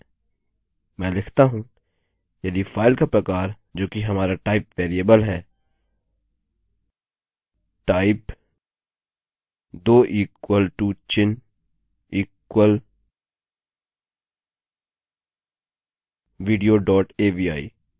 मैं लिखता हूँ यदि फाइल का प्रकार जोकि हमारा टाइप वेरिएबल है type दो इक्वल टू चिन्ह इक्वल विडियो डोट avi